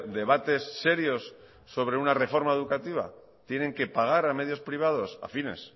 debates serios sobre una reforma educativa tienen que pagar a medios privados afines